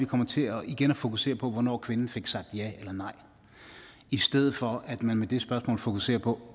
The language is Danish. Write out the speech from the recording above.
kommer til at fokusere på hvornår kvinden fik sagt ja eller nej i stedet for at man med det spørgsmål fokuserer på